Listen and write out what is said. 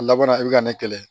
A labanna i bɛ ka ne kɛlɛ